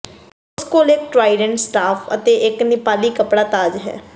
ਉਸ ਕੋਲ ਇੱਕ ਟਰਾਈਡੈਂਟ ਸਟਾਫ ਅਤੇ ਇੱਕ ਨੇਪਾਲੀ ਕੱਪੜਾ ਤਾਜ ਹੈ